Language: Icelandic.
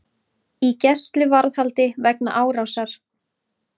Í gæsluvarðhaldi vegna árásar